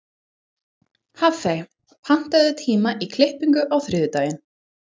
Hafey, pantaðu tíma í klippingu á þriðjudaginn.